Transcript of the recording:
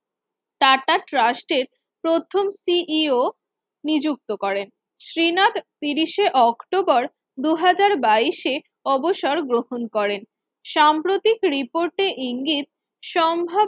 tata Trust প্রথম CEO নিযুক্ত করেন শ্রীনাথ তিশির এই অক্টোবর দুই হাজার বাইশ এ অবসর গ্রহণ করেন সাম্প্রতিক রিপোর্টের ইঙ্গিত সম্ভাবনা